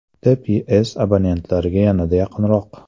TPS abonentlarga yanada yaqinroq!.